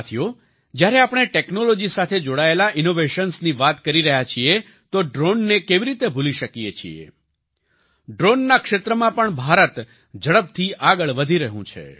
સાથીઓ જ્યારે આપણે ટેક્નોલોજી સાથે જોડાયેલા ઈનોવેશન્સની વાત કરી રહ્યા છીએ તો ડ્રોનને કેવી રીતે ભૂલી શકીએ છીએ ડ્રોનના ક્ષેત્રમાં પણ ભારત ઝડપથી આગળ વધી રહ્યું છે